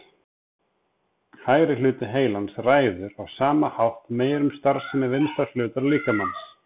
Hægri hluti heilans ræður á sama hátt meiru um starfsemi vinstra hlutar líkamans.